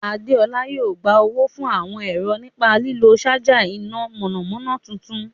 Adéọlá yóò gba owó fún àwọn ẹ̀rọ nípa lílo ṣaja iná mọ̀nàmọ́ná tuntun.